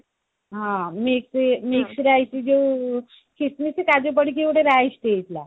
ହଁ mix mix rice ଯୋଉ ଖିସମିସ କାଜୁ ପଡିକି ଗୋଟେ rice ଟେ ହେଇଥିଲା